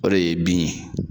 O de ye bin ye.